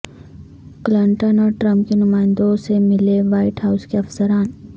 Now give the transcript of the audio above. Clinton اور Trump کے نمائندوں سے ملے وائٹ ہاوس کے افسران